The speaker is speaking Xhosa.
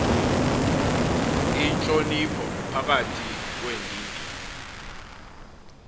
intlonipho phakathi kweendidi